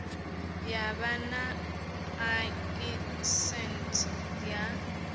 ya vha na ḽaisentsi ya